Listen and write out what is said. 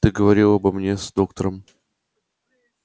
ты говорил обо мне с доктором